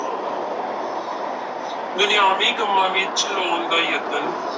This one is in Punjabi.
ਦੁਨਿਆਵੀ ਕੰਮਾਂ ਵਿੱਚ ਲਾਉਣ ਦਾ ਯਤਨ,